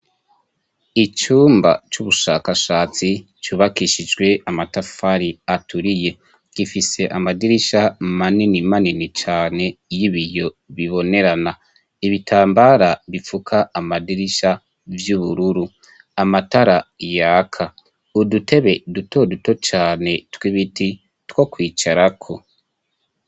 Icumba c'ubushakashatsi, cubakishijwe amatafari aturiye, gifise amadirisha manini manini cane y'ibiyo bibonerana, ibitambara bipfuka amadirisha vy'ubururu, amatara yaka, udutebe dutoduto cane tw'ibiti two kwicarako.